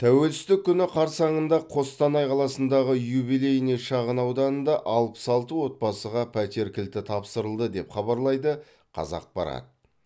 тәуелсіздік күні қарсаңында қостанай қаласындағы юбилейный шағын ауданында алпыс алты отбасыға пәтер кілті тапсырылды деп хабарлайды қазақпарат